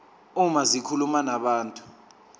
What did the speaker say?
uma zikhuluma nabantu